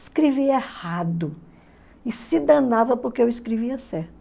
Escrevia errado e se danava porque eu escrevia certo.